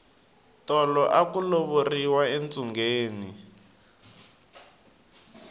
tolo aku lovoriwa entsungeni